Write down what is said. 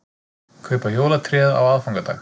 Kaupa jólatréð á aðfangadag